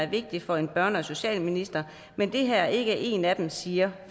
vigtige for en børne og socialminister men det her er ikke en af dem siger